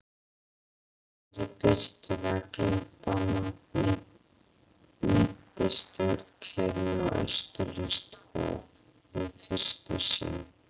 Í rauðri birtu vegglampanna minnti stjórnklefinn á austurlenskt hof- við fyrstu sýn.